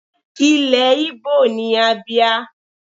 Ilẹ̀ Igbo ni Abia.